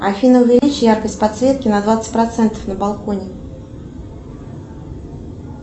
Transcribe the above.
афина увеличь яркость подсветки на двадцать процентов на балконе